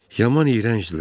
Yaman iyrəncdirlər.